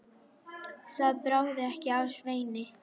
Það bráði ekki af Sveini.